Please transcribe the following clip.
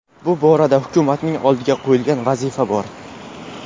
Bu borada hukumatning oldiga qo‘yilgan vazifa bor.